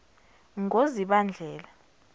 ngozibandlela